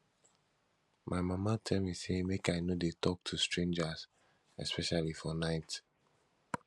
my mama tell me say make i no dey talk to strangers especially for night